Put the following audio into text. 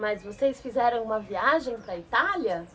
Mas vocês fizeram uma viagem para a Itália?